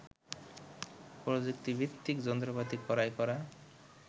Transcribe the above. প্রযুক্তিভিত্তিক যন্ত্রপাতি ক্রয় করা